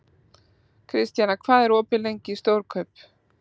Kristjana, hvað er opið lengi í Stórkaup?